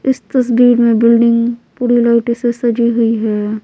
इस तस्वीर में बिल्डिंग पूरी लाइट ओसे सजी हुई है।